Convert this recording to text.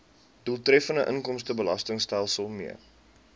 doeltreffende inkomstebelastingstelsel mee